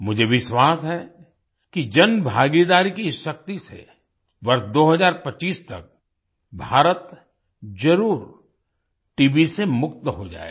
मुझे विश्वास है कि जनभागीदारी की इस शक्ति से वर्ष 2025 तक भारत जरुर टीबी से मुक्त हो जाएगा